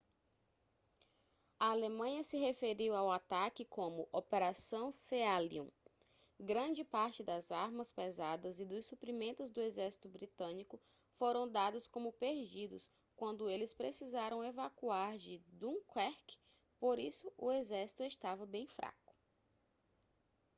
a alemanha se referiu ao ataque como operação sealion grande parte das armas pesadas e dos suprimentos do exército britânico foram dados como perdidos quando eles precisaram evacuar de dunquerque por isso o exército estava bem fraco